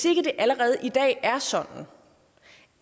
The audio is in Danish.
ikke allerede i dag er sådan